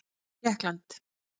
Tékkland